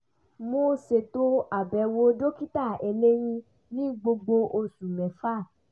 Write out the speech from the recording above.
mo ṣètò àbẹ̀wò dokita eléyín ní gbogbo oṣù mẹ́fà